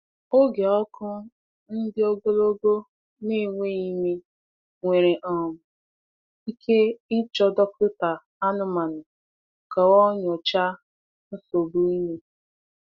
Oge ọkụ ndi-ogologo na-enweghị ime nwere um ike ịchọ dọkịta anụmanụ ka o nyochaa nsogbu ime.